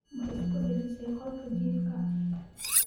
Ma isku dejisay qolka jiifka?